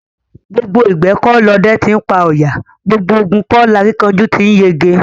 Gbogbo ìgbẹ́ kọ́ lọdẹ ti ńpa ọ̀yà; gbogbo ogun kọ́ lakíkanjú ti ńyege.